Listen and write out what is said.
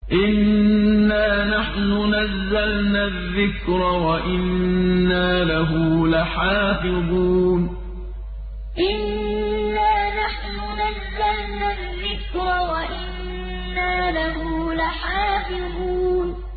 إِنَّا نَحْنُ نَزَّلْنَا الذِّكْرَ وَإِنَّا لَهُ لَحَافِظُونَ إِنَّا نَحْنُ نَزَّلْنَا الذِّكْرَ وَإِنَّا لَهُ لَحَافِظُونَ